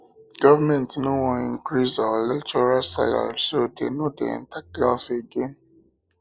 government no wan increase our lecturers salary so dey no dey enter class again